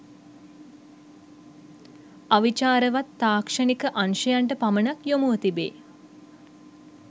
අවිචාරවත් තාක්ෂණික අංශයන්ට පමණක් යොමුව තිබේ